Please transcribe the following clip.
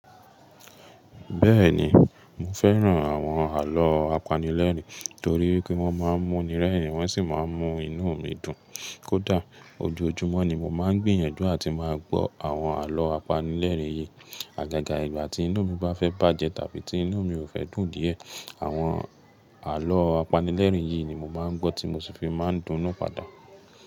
Bẹ́ẹ̀ni, mo fẹ́ràn àwọn àlọ́ apanilẹ́rìn torí pé wọ́n máa ń múni rẹ́rìn-ín wọ́n sì máa ń mú inú mi dùn. Kódà ojoojúmọ́ ni mo máa ń gbìyànjú àti máa gbọ́ àwọn àlọ́ apanilẹ́rìn yìí. Àgàgà ìgbà tí inú mi bá fẹ́ bàjẹ́ tàbí tí inú mi ò fẹ́ dùn díẹ̀, àwọn àlọ́ apanilẹ́rìn yìí ni mo máa ń gbọ́ tí mo sì fi máa ń dùn nú padà.